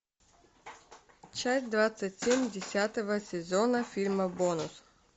часть двадцать семь десятого сезона фильма бонус